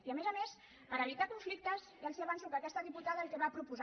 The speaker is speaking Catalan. i a més a més per evitar conflictes ja els avanço que aquesta diputada el que va proposar